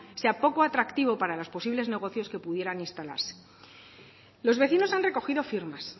sea poco atractivo para los posibles negocios que pudieran instalarse los vecinos han recogido firmas